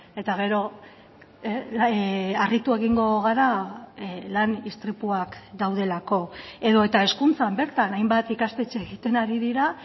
eta gero harritu egingo gara lan istripuak daudelako edota hezkuntzan bertan hainbat ikastetxe egiten ari dira